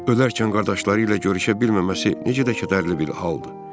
Öləkən qardaşları ilə görüşə bilməməsi necə də kədərlidir.